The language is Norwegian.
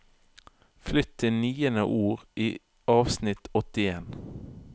Flytt til niende ord i avsnitt åttien